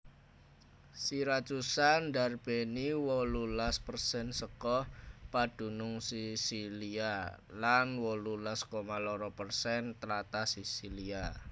Siracusa ndarbèni wolulas persen saka padunung Sisilia lan wolulas koma loro persen tlatah Sisilia